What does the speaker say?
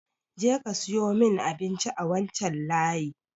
Je ka siyo mun abinci a wancan layi!